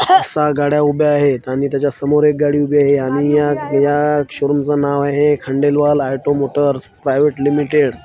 सहा गाड्या उभ्या आहेत आणि त्याच्या समोर एक गाडी उभी आहे आणि मी याक या शोरुम च नाव आहे Khandelwal auto motors private limited .